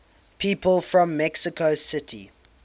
people from mexico city